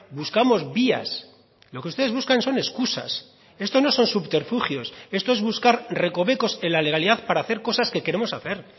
buscamos vías lo que ustedes buscan son excusas esto no son subterfugios esto es buscar recovecos en la legalidad para hacer cosas que queremos hacer